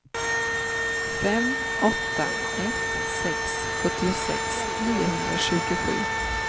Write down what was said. fem åtta ett sex sjuttiosex niohundratjugosju